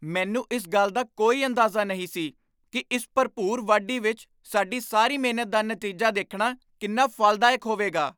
ਮੈਨੂੰ ਇਸ ਗੱਲ ਦਾ ਕੋਈ ਅੰਦਾਜ਼ਾ ਨਹੀਂ ਸੀ ਕਿ ਇਸ ਭਰਪੂਰ ਵਾਢੀ ਵਿਚ ਸਾਡੀ ਸਾਰੀ ਮਿਹਨਤ ਦਾ ਨਤੀਜਾ ਦੇਖਣਾ ਕਿੰਨਾ ਫਲਦਾਇਕ ਹੋਵੇਗਾ।